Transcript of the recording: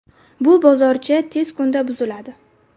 Bu bozorcha tez kunda buziladi.